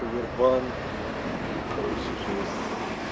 овербанк короче жесть